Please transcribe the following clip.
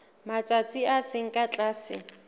matsatsi a seng ka tlase